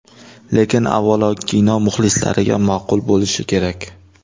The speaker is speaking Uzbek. Lekin, avvalo, kino muxlislariga ma’qul bo‘lishi kerak.